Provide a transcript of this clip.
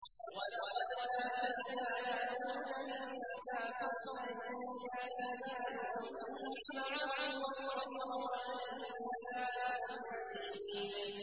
۞ وَلَقَدْ آتَيْنَا دَاوُودَ مِنَّا فَضْلًا ۖ يَا جِبَالُ أَوِّبِي مَعَهُ وَالطَّيْرَ ۖ وَأَلَنَّا لَهُ الْحَدِيدَ